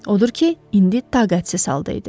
Odur ki, indi taqətsiz halda idi.